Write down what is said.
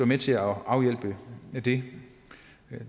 med til at afhjælpe det det